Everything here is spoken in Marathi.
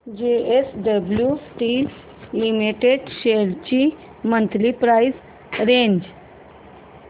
जेएसडब्ल्यु स्टील लिमिटेड शेअर्स ची मंथली प्राइस रेंज